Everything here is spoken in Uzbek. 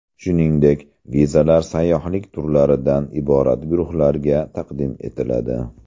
Shuningdek, vizalar sayyohlik turlaridan iborat guruhlarga taqdim etiladi.